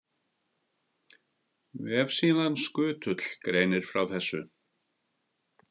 Vefsíðan Skutull greinir frá þessu.